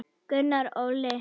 Gunnar Óli.